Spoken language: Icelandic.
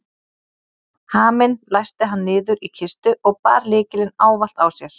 Haminn læsti hann niður í kistu og bar lykilinn ávallt á sér.